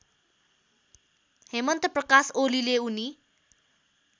हेमन्तप्रकाश ओलीले उनी